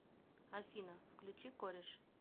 афина включи кореш